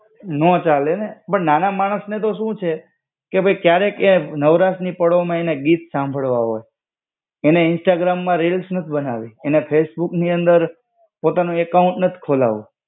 ન ચાલે. બટ નાના માણસને તો સુ છે, કે ભઈ ક્યારેક એ નવરાતની પળોમાં એને ગીત સાંભળવા હો. એને ઇન્સ્ટાગ્રામમાં રીલ્સ નત બનાવી. એને ફેસબુકની અંદર પિતાનો એકાઉન્ટ નત ખોલાવું.